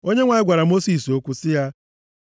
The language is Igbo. Onyenwe anyị gwara Mosis okwu sị ya,